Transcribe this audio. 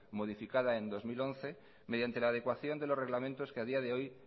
modificada en dos mil once mediante la adecuación de los reglamentos que a día de hoy